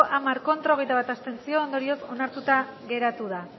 hamar ez hogeita bat abstentzio ondorioz onartuta geratu da